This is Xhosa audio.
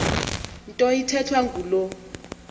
nto ithethwa ngulo